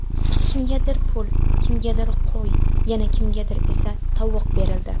Kimgadir pul, kimgadir qo‘y, yana kimgadir esa tovuq berildi.